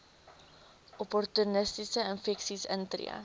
opportunistiese infeksies intree